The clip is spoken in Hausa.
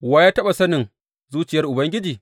Wa ya taɓa sanin zuciyar Ubangiji?